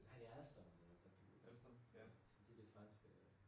Nej det Alstom så det det franske